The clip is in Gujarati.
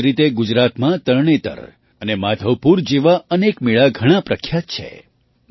આ જ રીતે ગુજરાતમાં તરણેતર અને માધવપુર જેવા અનેક મેળા ઘણા પ્રખ્યાત છે